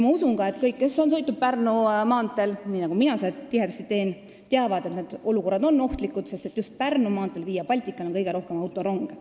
Ma usun ka, et kõik, kes on sõitnud Pärnu maanteel, nii nagu mina seda tihedasti teen, teavad, et seal on sageli ohtlikke olukordi, sest just Pärnu maanteel, Via Baltical on kõige rohkem autoronge.